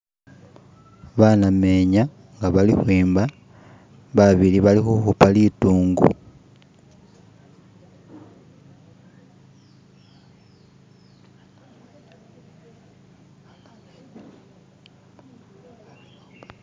banamyenya nga bali hwemba babili bali huhupa lidungu